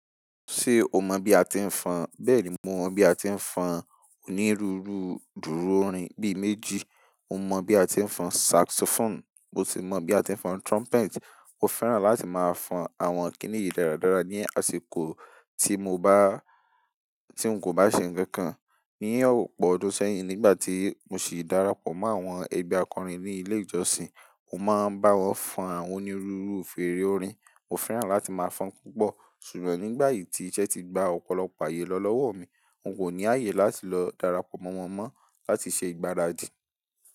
Ṣé o mọ̀ bí a ti ń fọn? Bẹ́ẹ̀ ni mo mọ̀ bí a ti ń fọn onírúurú dúru orin bíi méjì. Mo mọ̀ bí a ti ń fọn saxophone, mo ti mọ̀ bí a ti ń fọn trumpet. Mo fẹ́ràn láti máa fọn àwọn kínì yìí dáradára ní àsìkò tí mo bá, tí n kò bá ṣe nǹkan kan. Ní ọ̀pọ̀ ọdún sẹ́yìn, nígbà tí mo sì darapọ̀ mọ́ àwọn ẹgbẹ́ akọrin ní ilé ìjọsìn, mo máa ń bá wọn fọn àwọn onírúurú fèrè orin. Mo fẹ́ràn láti máa fọn púpọ̀, ṣùgbọ́n nígbà yìí tí iṣẹ́ ti gba ọ̀pọ̀lọpọ̀ àyè lọ lọ́wọ́ mi, n kò ní àyè láti lọ darapọ̀ mọ́ wọn mọ́ láti ṣe ìgbáradì.